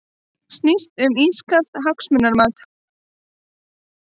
Snýst um ískalt hagsmunamat